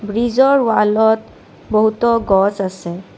ব্ৰিজৰ ৱালত বহুতো গছ আছে।